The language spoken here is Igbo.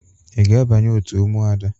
Ị ga-abanye òtù Ụmụada?